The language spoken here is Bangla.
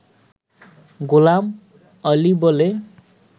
গোলাম আলি বলে